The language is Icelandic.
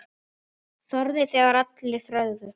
Þorði þegar aðrir þögðu.